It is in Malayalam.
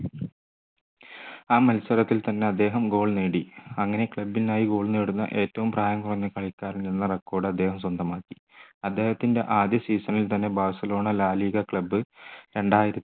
ആ മത്സരത്തിൽ തന്നെ അദ്ദേഹം goal നേടി അങ്ങനെ club ന് ആയി goal നേടുന്ന ഏറ്റവും പ്രായം കുറഞ്ഞ കളിക്കാരൻ എന്ന record അദ്ദേഹം സ്വന്തമാക്കി അദ്ദേഹത്തിൻ്റെ ആദ്യ season ൽ തന്നെ ബാഴ്സലോണ la liga club രണ്ടായിരത്തി